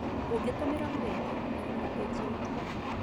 Ũgĩtũmĩra rũrenda, ũroraga pĩgi ya ithue.